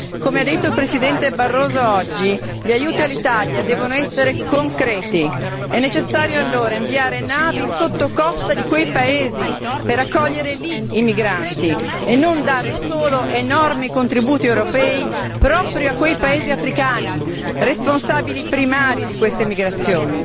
Come ha detto il Presidente Barroso oggi, gli aiuti all'Italia devono essere concreti. È necessario allora inviare navi sottocosta di quei paesi per accogliere lì i migranti e non dare solo enormi contributi europei proprio a quei paesi africani responsabili primari di queste migrazioni.